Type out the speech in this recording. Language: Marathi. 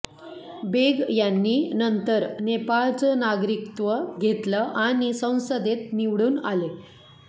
बेग यांनी नंतर नेपाळचं नागरिकत्व घेतलं आणि संसदेत निवडून आले